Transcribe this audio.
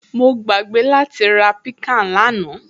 Mo gbàgbé láti ra piccan lánàá